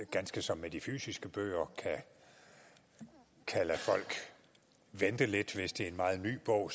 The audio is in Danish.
ganske som med de fysiske bøger kan lade folk vente lidt hvis det er en meget ny bog